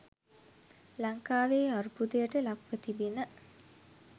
ලංකාවේ අර්බුදයට ලක්ව තිබෙන